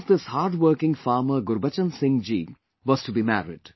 The son of this hard working farmer Gurbachan Singh ji was to be married